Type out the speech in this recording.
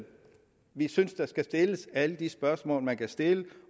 vi synes at der skal stilles alle de spørgsmål man kan stille